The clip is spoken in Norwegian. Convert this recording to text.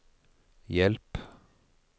hjelp